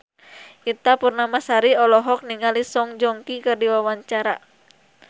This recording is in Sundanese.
Ita Purnamasari olohok ningali Song Joong Ki keur diwawancara